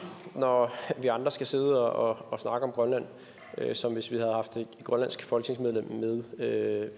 når vi andre skal sidde og snakke om grønland som hvis vi havde haft et grønlandsk folketingsmedlem med